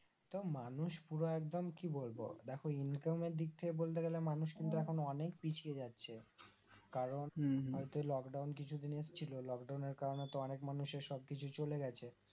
তো মানুষ পুরো একদম কি বলব দেখো Income এর দিক থেকে বলতে গেলে মানুষ কিন্তু এখন অনেক পিছিয়ে যাচ্ছে কারণ হম হম হয়তো Lockdown কিছুদিন আসছিলো Lockdown এর কারণে তো অনেক মানুষের সবকিছু চলে গেছে